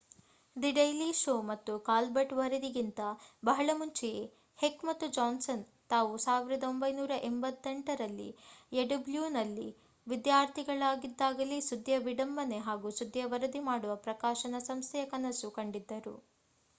the daily show ಮತ್ತು Colbert ವರದಿಗಿಂತ ಬಹಳ ಮುಂಚೆಯೇ ಹೆಕ್ ಮತ್ತು ಜಾನ್ಸನ್ ತಾವು 1988ರಲ್ಲಿ ಯುಡಬ್ಲೂನಲ್ಲಿ ವಿದ್ಯಾರ್ಥಿಗಳಾಗಿದ್ದಾಗಲೇ ಸುದ್ಧಿಯ ವಿಡಂಬನೆ ಹಾಗೂ ಸುದ್ದಿಯ ವರದಿ ಮಾಡುವ ಪ್ರಕಾಶನ ಸಂಸ್ಥೆಯ ಕನಸು ಕಂಡಿದ್ದರು